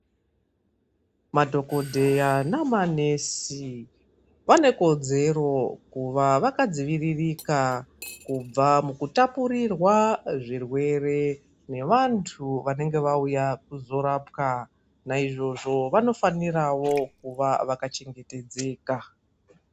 Madhogodheya namanesi vanekodzero kuva vakadziviririka kubva mukutapurirwa zvirwere nevantu vanenge vauya kuzorapwa. Naizvozvo vanofanirawo kuva vakachengetedzeka.